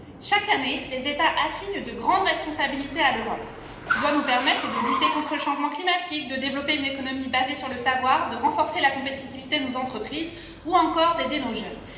Chaque année, les États assignent de grandes responsabilités à l'Europe, qui doit nous permettre de lutter contre le changement climatique, de développer une économie basée sur le savoir, de renforcer la compétitivité de nos entreprises ou encore d'aider nos jeunes.